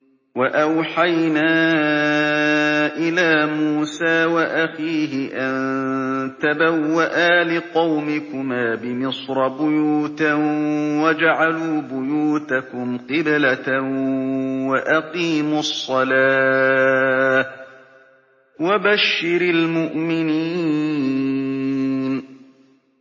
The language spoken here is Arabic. وَأَوْحَيْنَا إِلَىٰ مُوسَىٰ وَأَخِيهِ أَن تَبَوَّآ لِقَوْمِكُمَا بِمِصْرَ بُيُوتًا وَاجْعَلُوا بُيُوتَكُمْ قِبْلَةً وَأَقِيمُوا الصَّلَاةَ ۗ وَبَشِّرِ الْمُؤْمِنِينَ